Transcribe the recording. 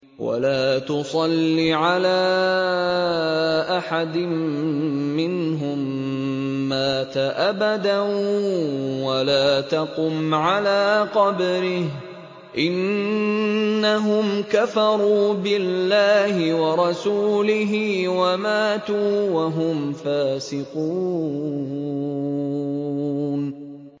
وَلَا تُصَلِّ عَلَىٰ أَحَدٍ مِّنْهُم مَّاتَ أَبَدًا وَلَا تَقُمْ عَلَىٰ قَبْرِهِ ۖ إِنَّهُمْ كَفَرُوا بِاللَّهِ وَرَسُولِهِ وَمَاتُوا وَهُمْ فَاسِقُونَ